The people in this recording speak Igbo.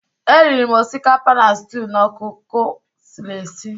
E riri m osikapa na stew na ọkụkọ esiri esi